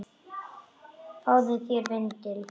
SKÚLI: Fáðu þér vindil.